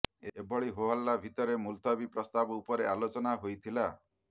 ଏଭଳି ହୋହଲ୍ଲା ଭିତରେ ମୁଲତବୀ ପ୍ରସ୍ତାବ ଉପରେ ଆଲୋଚନା ହୋଇଥିଲା